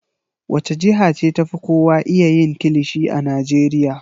Wace jiha ce ta fi kowa iya yin kilishi a Najeriya?